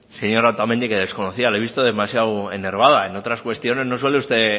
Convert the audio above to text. señora otamendi que desconocía la he visto demasiada enervada en otras cuestiones no suele usted